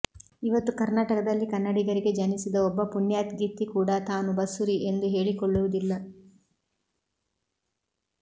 ಇವತ್ತು ಕರ್ನಾಟಕದಲ್ಲಿ ಕನ್ನಡಿಗರಿಗೆ ಜನಿಸಿದ ಒಬ್ಬ ಪುಣ್ಯಾತ್ಗಿತ್ತಿ ಕೂಡ ತಾನು ಬಸುರಿ ಎಂದು ಹೇಳಿಕೊಳ್ಳುವುದಿಲ್ಲ